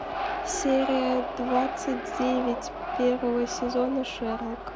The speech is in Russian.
серия двадцать девять первого сезона шерлок